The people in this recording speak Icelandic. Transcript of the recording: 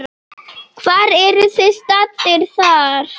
Hvar eruð þið staddir þar?